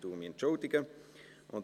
Ich entschuldige mich.